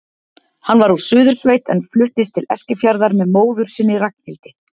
Hann var úr Suðursveit en fluttist til Eskifjarðar með móður sinni, Ragnhildi.